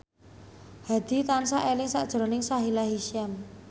Hadi tansah eling sakjroning Sahila Hisyam